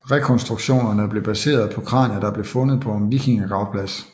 Rekonstruktionerne blev baseret på kranier der blev fundet på en vikingegravplads